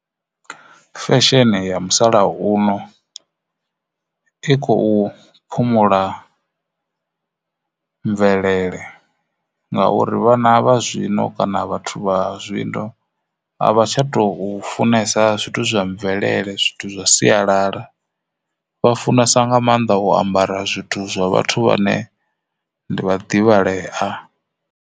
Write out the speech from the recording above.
Fesheni ya musalauno i khou phumula mvelele ngauri vhana vha zwino kana vhathu vha zwino a vha tsha tou funesa zwithu zwa mvelele zwithu zwa sialala vha funesa nga maanḓa u ambara zwithu zwa vhathu vhane ndi vhaḓivhalea.